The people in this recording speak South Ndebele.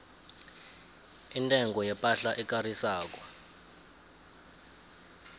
intengo yepahla ekarisako